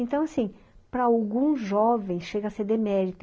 Então, assim, para algum jovem chega a ser demérito.